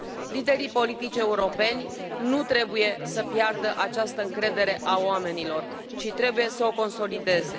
Liderii politici europeni nu trebuie să piardă această încredere a oamenilor, ci trebuie să o consolideze.